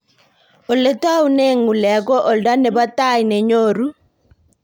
ole itaunen ng'ulek ko oldo nebo tai nenyoru